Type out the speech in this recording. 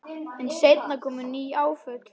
En seinna komu ný áföll.